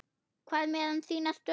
Hvað með þína stöðu?